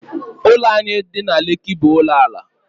Ụlọ anyị dị na Lekki bụ ụlọ ala